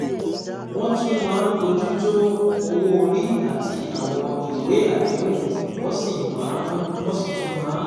Wọ́n tún máa ń bójú tó owó orí àti àwọn ìwé àdéhùn, wọ́n sì tún máa